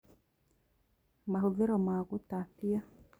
Mahũthĩro ma gũtatia